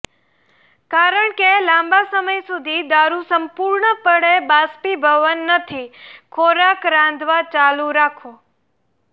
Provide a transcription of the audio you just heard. કારણ કે લાંબા સમય સુધી દારૂ સંપૂર્ણપણે બાષ્પીભવન નથી ખોરાક રાંધવા ચાલુ રાખો